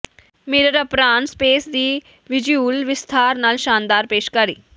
mirror apron space ਦੀ visual ਵਿਸਥਾਰ ਨਾਲ ਸ਼ਾਨਦਾਰ ਪੇਸ਼ਕਾਰੀ